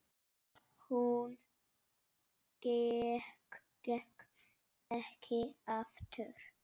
Hún gekk ekki aftur.